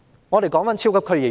我先說超級區議員。